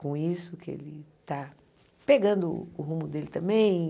Com isso que ele está pegando o rumo dele também.